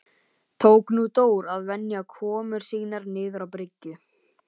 Tók nú Dór að venja komur sínar niður á bryggju.